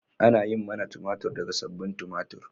Ana yin manna tumatir daga sabbin tumatir.